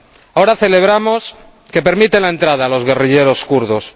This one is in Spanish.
Ahora celebramos que permite la entrada a los guerrilleros kurdos.